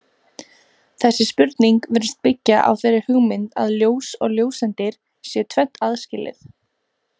Þessi spurning virðist byggja á þeirri hugmynd að ljós og ljóseindir séu tvennt aðskilið.